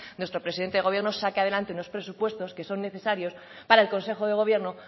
nuestro presidente de gobierno saque adelante unos presupuestos que son necesarios para el consejo de gobierno